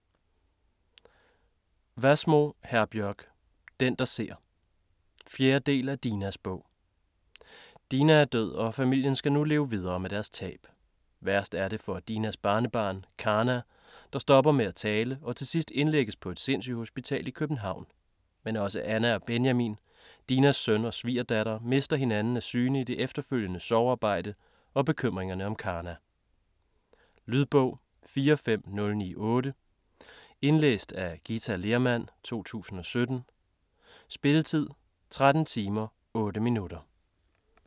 Wassmo, Herbjørg: Den der ser 4. del af Dinas bog. Dina er død og familien skal nu leve videre med deres tab. Værst er det for Dinas barnebarn Karna, der stopper med at tale og til sidst indlægges på et sindssygehospital i København. Men også Anna og Benjamin, Dinas søn og svigerdatter, mister hinanden af syne i det efterfølgende sorgarbejde og bekymringerne om Karna. Lydbog 45098 Indlæst af Githa Lehrmann, 2017. Spilletid: 13 timer, 8 minutter.